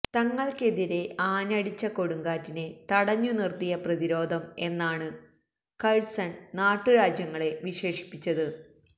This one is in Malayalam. തങ്ങൾക്കെതിരെ ആഞ്ഞടിച്ച കൊടുങ്കാറ്റിനെ തടഞ്ഞുനിർത്തിയ പ്രതിരോധം എന്നാണ് കഴ്സൺ നാട്ടുരാജ്യങ്ങളെ വിശേഷിപ്പിച്ചത്